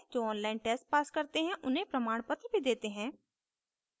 जो online test pass करते हैं उन्हें प्रमाणपत्र भी देते हैं